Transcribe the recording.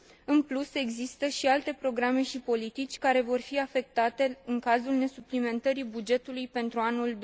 În plus, există și alte programe și politici care vor fi afectate în cazul nesuplimentării bugetului pentru anul